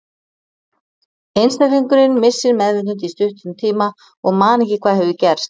einstaklingurinn missir meðvitund í stuttan tíma og man ekki hvað hefur gerst